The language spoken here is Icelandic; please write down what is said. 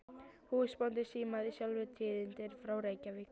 Húsbóndinn símaði sjálfur tíðindin frá Reykjavík.